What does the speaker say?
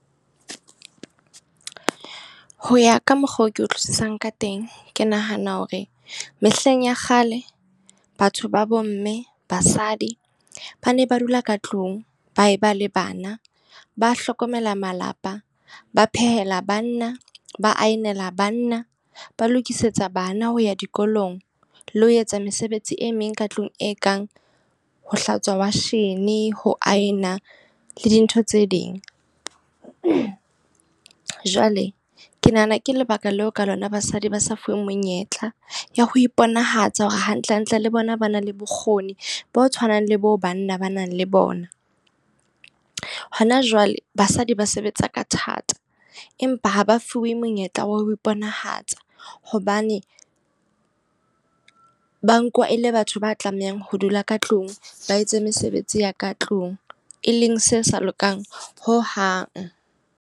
Ho ya ka mokgwa oo ke utlwisisang ka teng, ke nahana hore mehleng ya kgale batho ba bomme, basadi ba ne ba dula ka tlung ba e ba le bana. Ba hlokomela malapa, ba phehela banna, ba aenela banna, ba lokisetsa bana ho ya dikolong, le ho etsa mesebetsi e meng ka tlung e kang ho hlatswa washene, ho a ena le dintho tse ding. Jwale ke nahana ke lebaka leo ka lona basadi ba sa fuweng menyetla ya ho iponahatsa hore hantle hantle le bona ba na le bokgoni bo tshwanang le bo banna ba nang le bona. Hona jwale basadi ba sebetsa ka thata empa ha ba fuwe monyetla wa ho iponahatsa. Hobane ba nkuwa e le batho ba tlamehang ho dula ka tlung, ba etse mesebetsi ya ka tlung. E leng se sa lokang hohang.